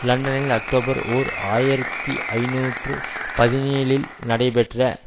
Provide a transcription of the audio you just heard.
லண்டனில் அக்டோபர் ஓர் ஆயிரத்தி ஐநூற்று பதினேழில் நடைபெற்ற